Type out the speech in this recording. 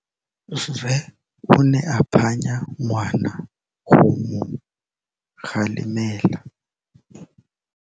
Rre o ne a phanya ngwana go mo galemela.